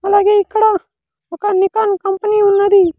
అలాగే ఇక్కడ ఒక నికాన్ కంపెనీ ఉన్నది.